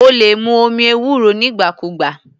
O lè mu omi ewúro nígbà kúùgbà.